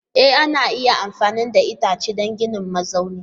E ana iya amfani da itace don ginin mazaunin